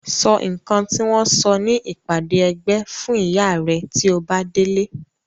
Sọ nǹkan tí wọ́n sọ ní ìpàdé ẹgbẹ́ fún ìyá rẹ tí o bá délé.